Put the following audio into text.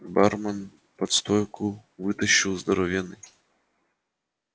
бармен под стойку вытащил здоровенный